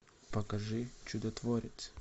покажи чудотворец